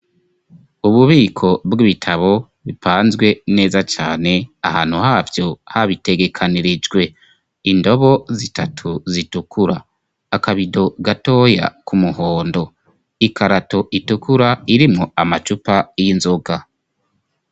Ububiko bw'ibitabo bipanzwe neza cane ahantu havyo habitegekanirijwe. Indobo zitatu zitukura, akabido gatoya k'umuhondo, ikarato itukura irimwo amacupa y'inzoga.